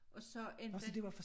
Og så enten